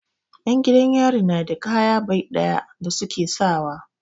'Yan gidan yari na da kaya bai ɗaya da su ke sawa.